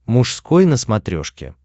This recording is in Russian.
мужской на смотрешке